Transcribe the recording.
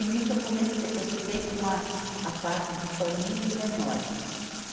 E nisso eu comecei, eu fiquei com a, a parte de família e menores.